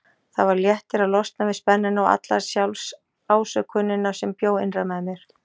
Það var léttir að losna við spennuna og alla sjálfsásökunina sem bjó innra með mér.